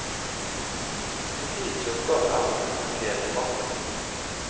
Politiets oppgave er å dokumentere fakta.